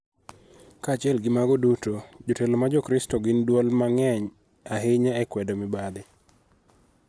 Kaachiel gi mago, jotelo ma Jokristo gin duol ma ng�eny ahinya e kwedo mibadhi,